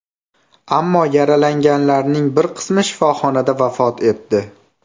Ammo yaralanganlarning bir qismi shifoxonada vafot etdi.